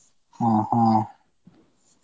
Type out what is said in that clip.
ಹಾ ಹಾ.